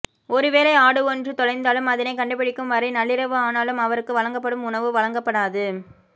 ஒருவேளை ஆடு ஒன்று தொலைந்தாலும் அதனைக் கண்டுபிடிக்கும் வரை நள்ளிரவு ஆனாலும் அவருக்கு வழங்கப்படும் உணவு வழங்கப்படாது